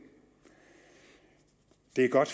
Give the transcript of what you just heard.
det er godt